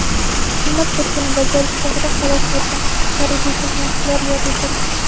xizmat burchini bajarish chog‘ida halok bo‘lgan harbiy xizmatchilar yod etildi.